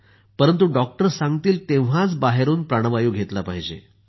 परंतु डॉक्टर सांगतील तेव्हाच बाहेरून प्राणवायु घेतला पाहिजे